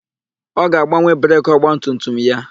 Ọ ga-agbanwe breki ọgbatumtum ya.